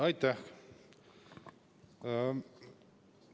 Aitäh!